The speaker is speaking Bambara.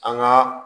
An ka